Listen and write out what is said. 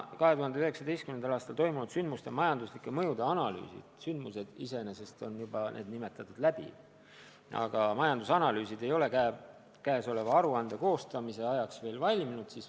2019. aastal toimunud sündmuste majandusliku mõju analüüsid – need sündmused iseenesest on juba läbi – ei ole selle aruande koostamise ajaks veel valminud.